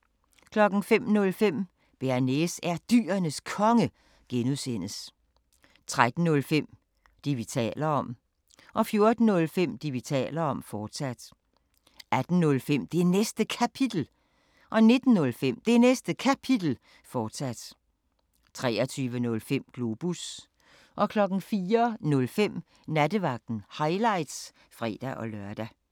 05:05: Bearnaise er Dyrenes Konge (G) 13:05: Det, vi taler om 14:05: Det, vi taler om, fortsat 18:05: Det Næste Kapitel 19:05: Det Næste Kapitel, fortsat 23:05: Globus 04:05: Nattevagten – highlights (fre-lør)